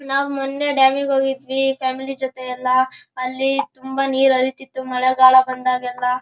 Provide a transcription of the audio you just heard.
ನಾವು ಮೊನ್ನೆ ಡ್ಯಾಮಿಗ್ ಹೋಗಿದ್ವಿ ಫ್ಯಾಮಿಲಿ ಜೊತೆ ಎಲ್ಲ ಅಲ್ಲಿ ನೀರ್ ಹರಿತಿತ್ತು ಮಳೆಗಾಲ ಬಂದಾಗೆಲ್ಲ --